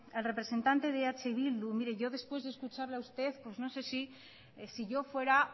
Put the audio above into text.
el representante de eh bildu yo después de escucharle a usted pues no sé si yo fuera